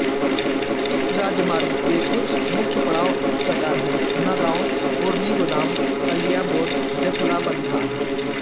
इस राजमार्ग के कुछ मुख्य पड़ाव इस प्रकार हैं नगाँव पुरनीगुदाम कलियाबोर जखलाबंधा